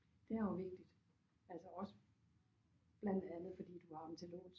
Det er jo vigtigt altså også blandt andet fordi du har dem til låns